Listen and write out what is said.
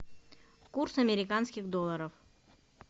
курс американских долларов